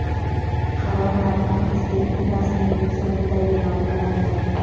Qaror matni Prezidentning rasmiy veb-saytida e’lon qilindi .